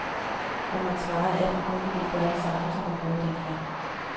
Jeg måtte svare, at jeg formodentlig ville gøre det samme, som jeg gjorde dengang.